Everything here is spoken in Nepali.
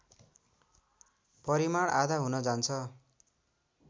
परिमाण आधा हुन जान्छ